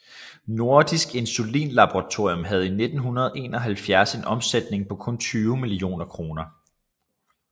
Nordisk Insulinlaboratorium havde i 1971 en omsætning på kun 20 millioner kroner